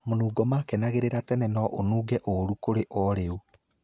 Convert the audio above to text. Mũnungo makenagĩrĩra tene no ũnunge ũrũ kũrĩ o rĩu.